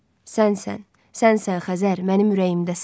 Sənsən, sənsən Xəzər, mənim ürəyimdəsən.